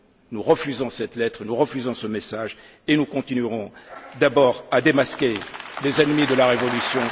Nous refusons cette lettre, nous refusons ce message et nous continuerons, d'abord à démasquer les ennemis de la révolution...